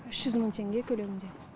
үш жүз мың теңге көлемінде